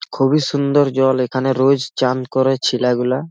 খুবই সুন্দর জল এখানে রোজ চান করে ছিলাগুলা।